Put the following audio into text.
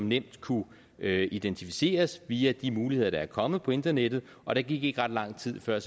nemt kunne identificeres via de muligheder der er kommet på internettet og der gik ikke ret lang tid før